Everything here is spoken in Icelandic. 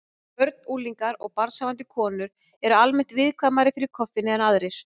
Börn, unglingar og barnshafandi konur eru almennt viðkvæmari fyrir koffíni en aðrir.